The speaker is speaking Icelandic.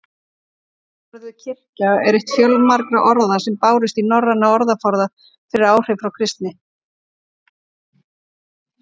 Orðið kirkja er eitt fjölmargra orða sem bárust í norrænan orðaforða fyrir áhrif frá kristni.